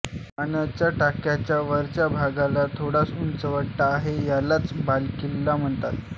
पाण्याच्या टाक्याच्या वरच्या भागाला थोडासा उंचवटा आहे यालाच बालेकिल्ला म्हणतात